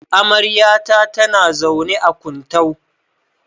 Amaryata tana zaune a Kuntau.